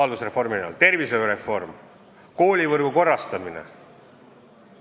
Edasi: tervishoiureform, koolivõrgu korrastamine.